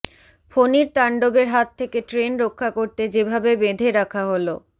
ফণীর তাণ্ডবের হাত থেকে ট্রেন রক্ষা করতে যেভাবে বেঁধে রাখা হল